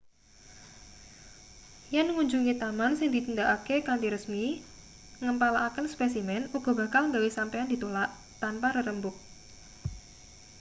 yen ngunjungi taman sing ditindakake kanthi resmi ngempalaken spesimen uga bakal gawe sampeyan ditulak tanpa rerembug